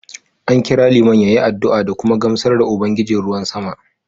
An kira Liman ya yi addu’a da kuma gamsar da Ubangijin ruwan sama